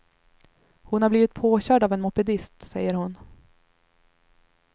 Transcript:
Hon har blivit påkörd av en mopedist, säger hon.